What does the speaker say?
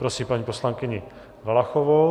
Prosím paní poslankyni Valachovou.